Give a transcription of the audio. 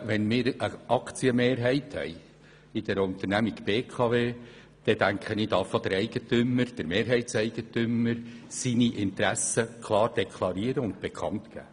Wenn wir die Aktienmehrheit der BKW besitzen, dürfen wir als Mehrheitseigentümer unsere Interessen klar bekannt geben.